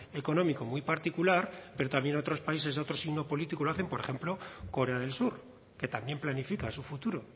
económico muy particular pero también otros países de otro signo político lo hacen por ejemplo korea del sur que también planifica su futuro